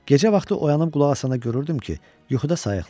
Gecə vaxtı oyanıb qulaq asanda görürdüm ki, yuxuda sayıqlayır.